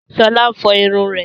Sọlá ń fọ irun rẹ̀